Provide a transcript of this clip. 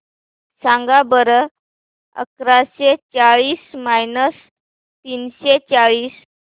सांगा बरं अकराशे चाळीस मायनस तीनशे चाळीस